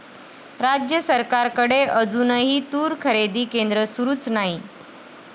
राज्य सरकारकडे अजूनही तूर खरेदी केंद्र सुरूच नाही!